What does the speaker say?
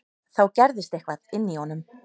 Þá gerðist eitthvað inní honum.